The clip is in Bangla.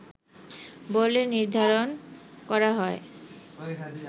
বলে নির্ধারণ করা হয়